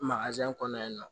kɔnɔ yen nɔ